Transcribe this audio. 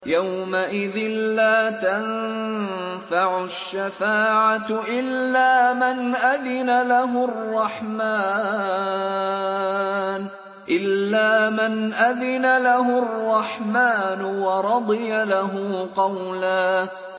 يَوْمَئِذٍ لَّا تَنفَعُ الشَّفَاعَةُ إِلَّا مَنْ أَذِنَ لَهُ الرَّحْمَٰنُ وَرَضِيَ لَهُ قَوْلًا